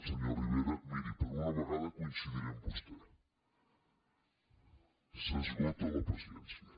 senyor rivera miri per una vegada coincidiré amb vostè s’esgota la paciència